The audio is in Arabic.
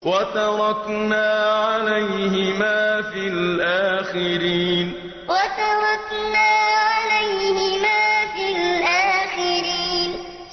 وَتَرَكْنَا عَلَيْهِمَا فِي الْآخِرِينَ وَتَرَكْنَا عَلَيْهِمَا فِي الْآخِرِينَ